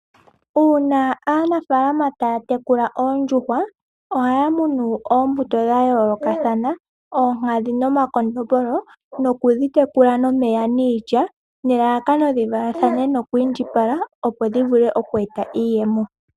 Uuna aanafalama taya tekula oondjuhwa, ohaya munu oombuto dhayoolokathana, oonkadhi nomakondombolo, nokudhi tekula nomeya niilya, nelalakano dhi valathane noku indjipala, opo dhivule oku eta iiyemo.